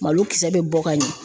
Malo kisɛ bɛ bɔ ka ɲɛ.